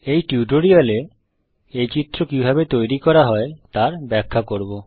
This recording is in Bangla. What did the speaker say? এই টিউটোরিয়াল এ এই চিত্র কিভাবে তৈরি করা হয় তার ব্যাখ্যা করব